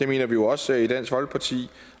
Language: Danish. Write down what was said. det mener vi jo også i dansk folkeparti